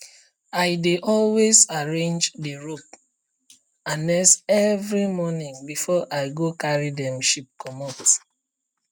i dey always arrange the rope harness every morning before i go carry dem sheep comot